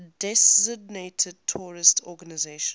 designated terrorist organizations